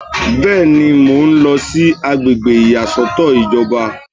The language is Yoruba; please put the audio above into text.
Bẹ́ẹ̀ni, mo ń lọ sí àgbègbè ìyàsọ́tọ̀ ìjọba